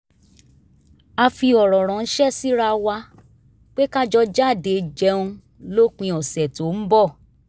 a fi ọ̀rọ̀ ránṣẹ́ síra wa pé ká jọ jáde jẹun lópin ọ̀sẹ̀ tó ń bọ̀